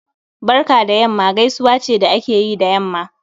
Barka da yamma gaisuwa ce da akeyi da yamma